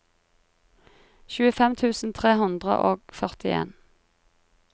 tjuefem tusen tre hundre og førtien